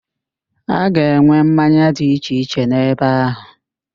A ga-enwe mmanya dị iche iche n'ebe áhụ̀.